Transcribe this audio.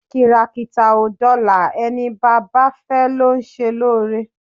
Kìràkìtà ò dọlà ẹni baba fẹ́ ló ń ṣe lóore.